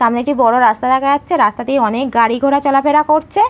সামনে একটি বড় রাস্তা দেখা যাচ্ছে রাস্তা দিয়ে অনেক গাড়ি ঘোড়া চলাফেরা করছে ।